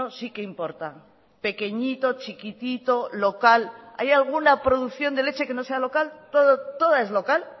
sí que importa pequeñito chiquitito local hay alguna producción de leche que no sea local toda es local